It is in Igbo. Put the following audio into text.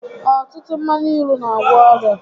Ọtụtụ mmanya ilu n'agwọ ọrịa